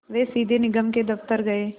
वे सीधे निगम के दफ़्तर गए